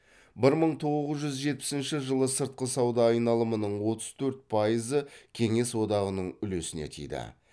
бір мың тоғыз жүз жетпісінші жылы сыртқы сауда айналымының отыз төрт пайызы кеңес одағының үлесіне тиді